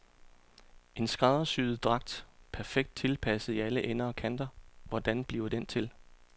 En skræddersyet dragt, perfekt tilpasset i alle ender og kanter, hvordan bliver den til.